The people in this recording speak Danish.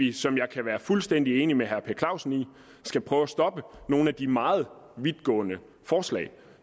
vi som jeg kan være fuldstændig enig med herre per clausen i skal prøve at stoppe nogle af de meget vidtgående forslag